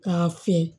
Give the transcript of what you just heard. K'a fɛ